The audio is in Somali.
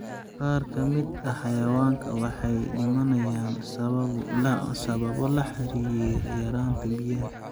Qaar ka mid ah xayawaanka waxay dhimanayaan sababo la xiriira yaraanta biyaha.